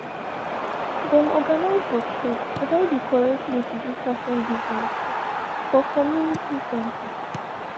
dem organise workshop about the correct way to do fashion business for community center